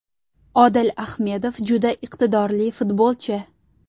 Odil Ahmedov juda iqtidorli futbolchi.